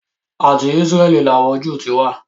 Àti Ísráẹ́lì ni àwọn Jew ti wá.